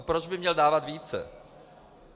A proč by měl dávat více?